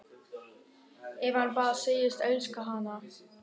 Ef hann bara segðist elska hana: